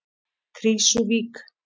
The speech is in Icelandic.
Krýsuvík